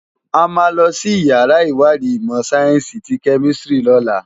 Ámá lòsi iyàrá iwádi imò sáyènsi ti kèmisitiri lòlá